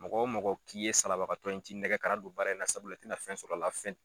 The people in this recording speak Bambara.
Mɔgɔ o mɔgɔ k'i ye salabagatɔ ye n t'i nɛgɛ kana don baara in sabula i tɛ na fɛn sɔrɔ a la.